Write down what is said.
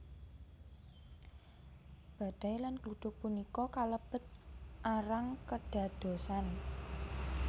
Badai lan gluduk punika kalebet arang kedadosan